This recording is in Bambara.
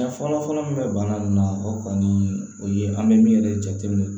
Dan fɔlɔfɔlɔ min bɛ bana in na o kɔni o ye an bɛ min yɛrɛ jate minɛ